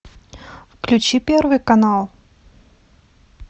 включи первый канал